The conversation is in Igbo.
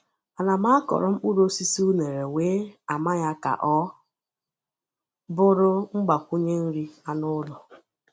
Ana m akọrọ mkpụrụ osisi unere wee ama ya ka ọ bụrụ mgbakwunye nri anụ ụlọ.